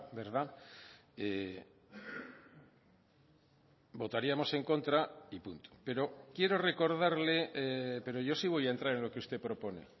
verdad votaríamos en contra y punto pero quiero recordarle pero yo sí voy a entrar en lo que usted propone